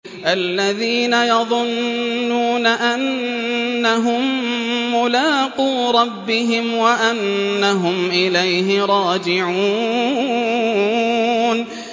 الَّذِينَ يَظُنُّونَ أَنَّهُم مُّلَاقُو رَبِّهِمْ وَأَنَّهُمْ إِلَيْهِ رَاجِعُونَ